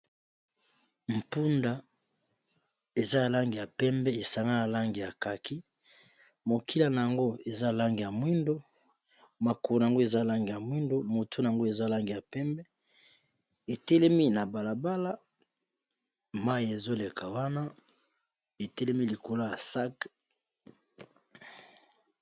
Mpunda eza ya langi ya pembe esangani na langi ya kaki, mokila na yango eza langi ya mwindo, makolo na yango eza langi ya mwindo, motone, yango eza langi ya pembe etelemi na balabala mayi ezoleka wana etelemi likolo ya sac.